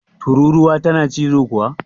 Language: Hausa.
Tururuwa tana cizo kuwa?